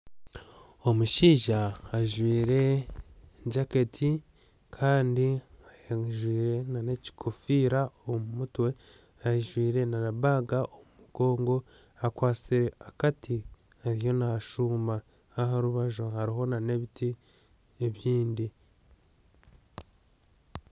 Omushaija ajwaire jaketi kandi ajwaire n'ekigofiira omu mutwe ajwaire na bag omu mugongo akwatsire akati ariyo nashuuma aharubaju hariho n'ebiti ebindi